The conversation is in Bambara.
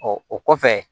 Ɔ o kɔfɛ